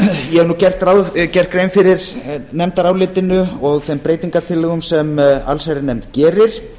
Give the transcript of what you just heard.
ég hef nú gert grein fyrir nefndarálitinu og þeim breytingartillögum sem allsherjarnefnd gerir